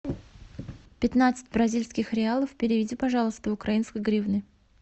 пятнадцать бразильских реалов переведи пожалуйста в украинские гривны